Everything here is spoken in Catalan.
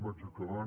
vaig acabant